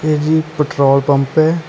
ਇਹ ਜੀ petrol pump ਐ।